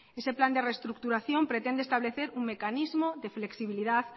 ese plan de reestructuración pretende establecer un mecanismo de flexibilidad